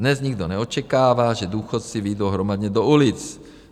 Dnes nikdo neočekává, že důchodci vyjdou hromadně do ulic.